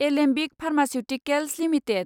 Alembic Pharmaceuticals limited